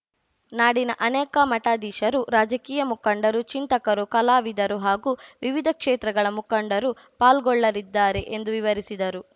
ನಾಡಿನ ಅನೇಕ ಮಠಾಧೀಶರು ರಾಜಕೀಯ ಮುಖಂಡರು ಚಿಂತಕರು ಕಲಾವಿದರು ಹಾಗೂ ವಿವಿಧ ಕ್ಷೇತ್ರಗಳ ಮುಖಂಡರೂ ಪಾಲ್ಗೊಳ್ಳಲಿದ್ದಾರೆ ಎಂದು ವಿವರಿಸಿದರು